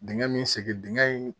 Dingɛ min sen dingɛ in